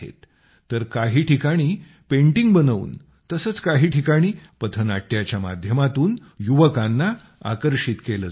तर काही ठिकाणी पेंटिंग बनवूनतसंच काही ठिकाणी पथनाट्याच्या माध्यमातून युवकांना आकर्षित केलं जात आहे